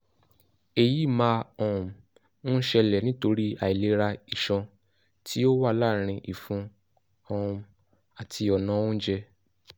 èyí máa um ń ṣẹlẹ̀ nítorí àìlera iṣan tí ó wà láàrin ìfun um àti ọ̀nà oúnjẹ